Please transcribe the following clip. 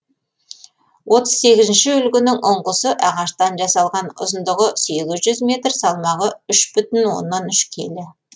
отыз сегізінші үлгінің ұңғысы ағаштан жасалған ұзындығы сегіз жүз метр салмағы үш бүтін оннан үш келі